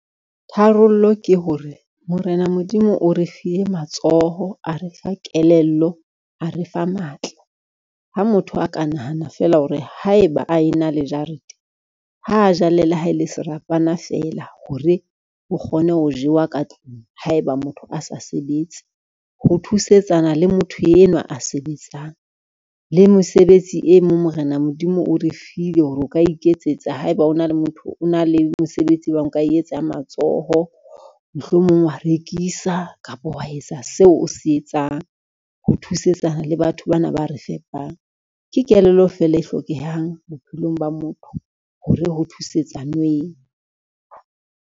Tharollo ke hore, Morena Modimo o re file matsoho, a refa kelello, a re fa matla. Ha motho a ka nahana fela hore haeba a ena le jarete, ha jala le ha e le serapana feela hore ho kgone ho jewa ka tlung, haeba motho a sa sebetse ho thusetsana le motho enwa a sebetsang. Le mosebetsi e mong Morena Modimo o re file hore o ka iketsetsa haeba o na le mosebetsi o bang o ka etsa wa matshoho, mohlomong wa rekisa kapa wa etsa seo o se etsang, ho thusetsa le batho bana ba re fepang. Ke kelello feela e hlokehang bophelong ba motho hore ho thusetsanweng.